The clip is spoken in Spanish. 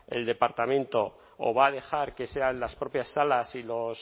el departamento o va a dejar que sean las propias salas y los